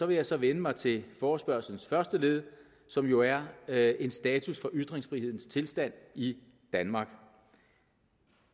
vil jeg så vende mig til forespørgslens første led som jo er er en status for ytringsfrihedens tilstand i danmark